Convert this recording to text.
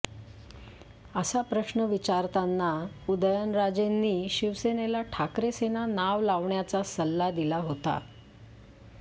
असा प्रश्न विचारताना उदयनराजेंनी शिवसेनेला ठाकरे सेना नाव लावण्याचा सल्ला दिला होता